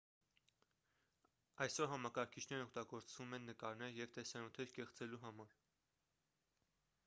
այսօր համակարգիչներն օգտագործվում են նկարներ և տեսանյութեր կեղծելու համար